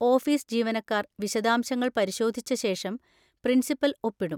Office ജീവനക്കാർ വിശദാംശങ്ങൾ പരിശോധിച്ച ശേഷം പ്രിൻസിപ്പൽ ഒപ്പിടും.